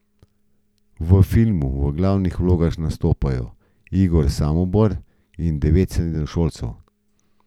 V filmu v glavnih vlogah nastopajo Igor Samobor in devet srednješolcev.